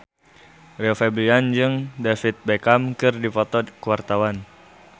Rio Febrian jeung David Beckham keur dipoto ku wartawan